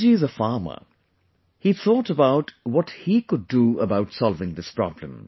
Reddy ji is a farmer, he thought about what he could do about solving this problem